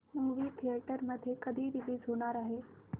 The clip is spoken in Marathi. मूवी थिएटर मध्ये कधी रीलीज होणार आहे